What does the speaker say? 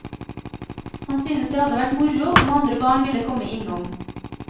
Han synes det hadde vært moro om andre barn ville komme innom.